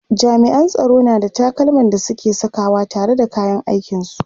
jami'an tsaro na da takalman da suke Saka wa tare da kayan aikin su